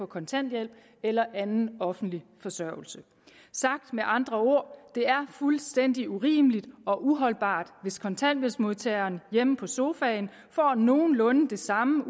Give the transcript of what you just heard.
kontanthjælp eller anden offentlig forsørgelse sagt med andre ord er fuldstændig urimeligt og uholdbart hvis kontanthjælpsmodtageren hjemme på sofaen får nogenlunde det samme